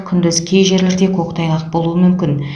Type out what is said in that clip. күндіз кей жерлерде көктайғақ болуы мүмкін